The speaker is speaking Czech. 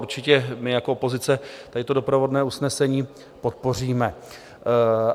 Určitě my jako opozice tady to doprovodné usnesení podpoříme.